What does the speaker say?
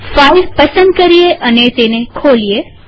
file પસંદ કરીએ અને તેને ખોલીએ